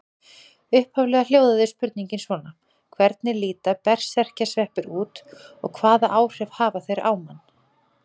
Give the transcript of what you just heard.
Upphaflega hljóðaði spurningin svona: Hvernig líta berserkjasveppir út og hvaða áhrif hafa þeir á mann?